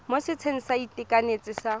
mo setsheng sa inthanete sa